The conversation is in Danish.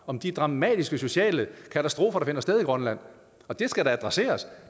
om de dramatiske sociale katastrofer der finder sted i grønland det skal da adresseres